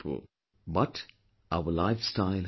But our lifestyle has changed